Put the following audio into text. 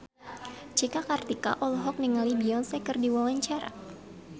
Cika Kartika olohok ningali Beyonce keur diwawancara